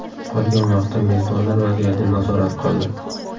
Qolgan vaqtda mezbonlar vaziyatni nazorat qildi.